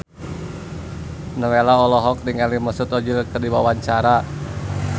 Nowela olohok ningali Mesut Ozil keur diwawancara